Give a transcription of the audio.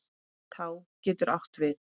Tá getur átt við